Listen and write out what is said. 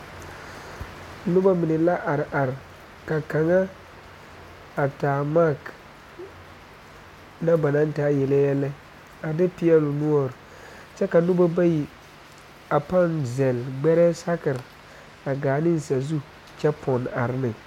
Noba mine la are are ka kaŋa a taa mie na ba naŋ taa yele yɛlɛ a de peɛle o noɔre kyɛ ka noba bayi a naŋ sel gbɛrɛɛ a haa ne saazu kyɛ pone are ne